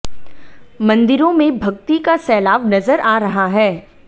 ंमंदिरों में भक्ति का सैलाव नजर आ रहा है